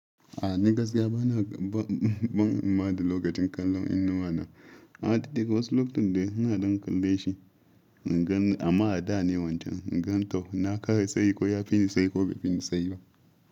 A ni gaskiya bana ban ban himma da lokacin kallon inuwa na. A titi wasu lokutan da ina don kalle shi in gani amma a da ne wancan. Gani to na kara sayi ko ya fi ni sayi ko ba fi ni sayi ba.